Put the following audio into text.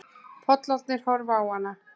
Pollarnir horfa á hana.